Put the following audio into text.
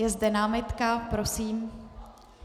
Je zde námitka, prosím.